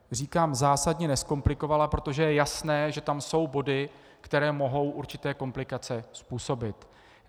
Říkám zásadně nezkomplikovala, protože je jasné, že tam jsou body, které mohou určité komplikace způsobit.